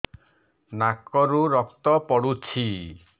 ନାକରୁ ରକ୍ତ ପଡୁଛି